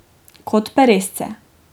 Kot peresce.